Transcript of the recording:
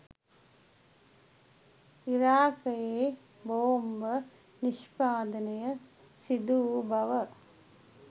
ඉරාකයේ බෝම්බ නිෂ්පාදනය සිදුවූ බව